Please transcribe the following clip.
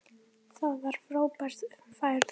Það var frábær ferð.